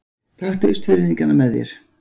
Taktu Austfirðingana með þér!